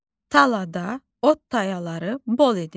Talada ot tayaları bol idi.